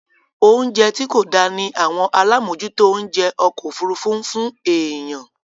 Oúnjẹ tí kò dá ní àwọn alámòòjútó oúnjẹ okọ̀-òfurufu ń fún èèyàn.